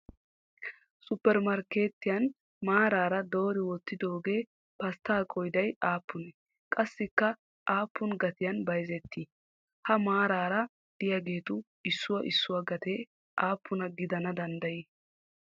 Suppermarkkeetiyan maaran doori wottidoogee pasttaa qooday aappunee qassikka appuna gatiyan bayizettii? Ha maaraara diyaagetu issuwaa issuwaa gatee appuna gidana danddayii?